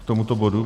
K tomuto bodu.